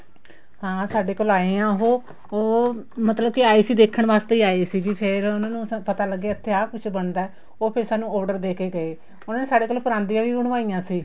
ਹਾਂ ਸਾਡੇ ਕੋਲ ਆਏ ਹੈ ਉਹ ਉਹ ਮਤਲਬ ਕੀ ਆਏ ਸੀ ਦੇਖਣ ਵਾਸਤੇ ਹੀ ਆਏ ਸੀ ਫ਼ੇਰ ਉਹਨਾ ਨੂੰ ਪਤਾ ਲੱਗਿਆ ਇੱਥੇ ਆ ਕੁੱਛ ਬਣਦਾ ਉਹ ਫ਼ੇਰ ਸਾਨੂੰ order ਦੇਕੇ ਗਏ ਉਹਨਾ ਨੇ ਸਾਡੇ ਕੋਲ ਪਰਾਂਦੀਆਂ ਵੀ ਬਣਵਾਈਆਂ ਸੀ